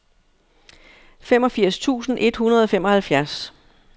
femogfirs tusind et hundrede og femoghalvfems